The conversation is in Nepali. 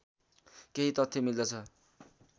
केही तथ्य मिल्दछ